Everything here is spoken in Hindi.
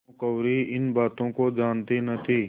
भानुकुँवरि इन बातों को जानती न थी